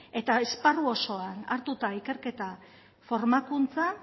eta esparru osoan hartuta ikerketa formakuntza